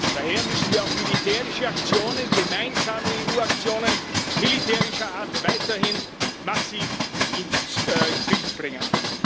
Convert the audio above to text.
Daher müssen wir auch militärische Aktionen, gemeinsame EU Aktionen militärischer Art, weiterhin massiv ins Bild bringen.